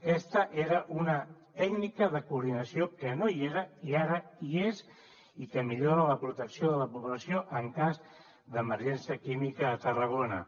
aquesta era una tècnica de coordinació que no hi era i ara hi és i que millora la protecció de la població en cas d’emergència química a tarragona